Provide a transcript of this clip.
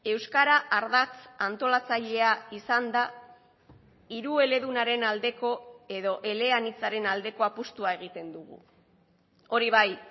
euskara ardatz antolatzailea izan da hirueledunaren aldeko edo eleanitzaren aldeko apustua egiten dugu hori bai